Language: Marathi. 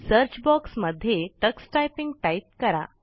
सर्च बॉक्स मध्ये टक्स टायपिंग टाइप करा